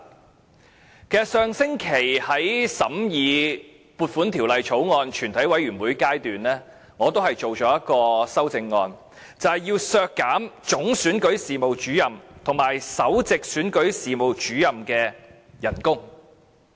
其實上星期審議《2017年撥款條例草案》的全體委員會審議階段，我也提出一項修正案，要求削減總選舉事務主任和首席選舉事務主任的薪酬。